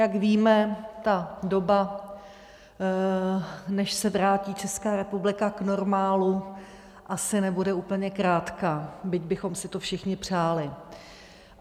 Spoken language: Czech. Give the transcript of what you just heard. Jak víme, ta doba, než se vrátí Česká republika k normálu, asi nebude úplně krátká, byť bychom si to všichni přáli.